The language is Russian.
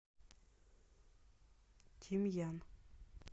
тимьян